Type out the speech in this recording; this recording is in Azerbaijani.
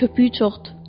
Köpüyü çoxdur.